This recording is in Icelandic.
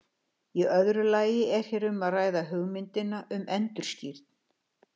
Í öðru lagi er hér um að ræða hugmyndina um endurskírn.